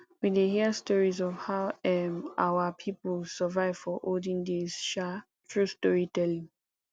we dey hear stories of how um our people survive for olden days um through storytelling